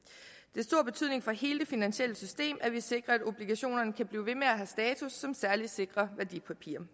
har stor betydning for hele det finansielle system at vi sikrer at obligationerne kan blive ved med at have status som særlig sikre værdipapirer